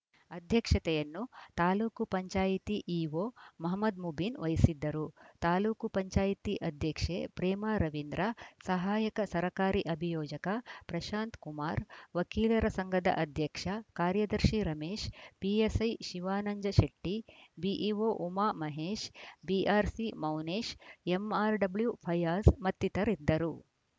ಅಧ್ಯಕ್ಷತೆಯನ್ನು ತಾಲೂಕ್ ಪಂಚಾಯತ್ ಇಒ ಮಹಮದ್‌ ಮುಬೀನ್‌ ವಹಿಸಿದ್ದರು ತಾಲೂಕ್ ಪಂಚಾಯತ್ ಅಧ್ಯಕ್ಷೆ ಪ್ರೇಮಾ ರವೀಂದ್ರ ಸಹಾಯಕ ಸರಕಾರಿ ಅಭಿಯೋಜಕ ಪ್ರಶಾಂತ್‌ ಕುಮಾರ್‌ ವಕೀಲರ ಸಂಘದ ಅಧ್ಯಕ್ಷ ಕಾರ್ಯದರ್ಶಿ Ramesh PSI Shivananjashetty BEO Umamahesh BRC Mounesh MRW Fayaz ಮತ್ತಿತರಿದ್ದರು